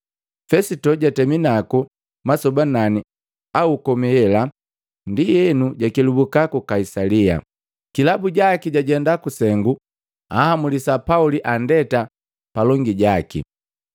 Fesito jatemi naku masoba nani au komi elahe, ndienu jakelubuka ku Kaisalia. Kilabu jaki jajenda kusengu anhamulisa Pauli andeta palongi jaki.